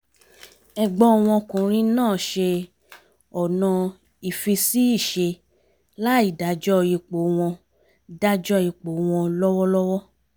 ẹ̀gbọ́n ọkùnrin náà ṣe ọ̀nà ìfi-sí-ìṣe láì dájọ́ ipò wọn dájọ́ ipò wọn lọ́wọ́lọ́wọ́